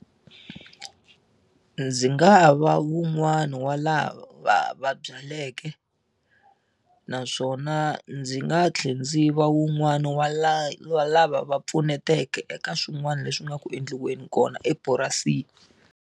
Ndzi nga va wun'wana wa lava va va byaleke naswona ndzi nga tlhela ndzi va wun'wani wa la wa lava va pfuneteke eka swin'wana leswi nga ku endliweni kona epurasini.